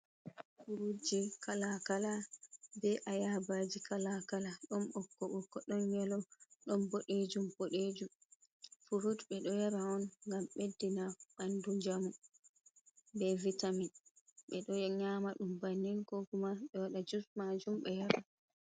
Furujji kalakala, be ayabaji kalakala don bokko-bokko, don nyelo, don bodejum, bodejum. Furuɗ be do yara on gam beddina bandu jamu be vitamin. Be do nyama dum bannen kokuma beɗ wada juss majum be yara.